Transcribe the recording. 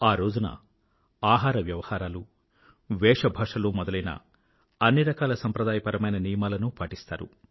ఆ రోజున ఆహార వ్యవహారాలు వేషభాషలు మొదలైన అన్ని రకాల సాంప్రదాయపరమైన నియమాలను పాటిస్తారు